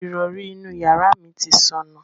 Ìrọrí inú yàrá mi ti sọnù.